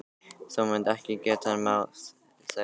Þú munt ekki geta máð þær burt.